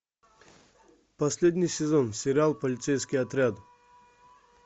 последний сезон сериал полицейский отряд